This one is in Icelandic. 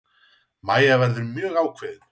Mæja verður mjög ákveðin.